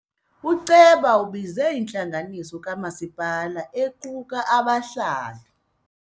Uceba ubize intlanganiso kamasipala equka abahlali.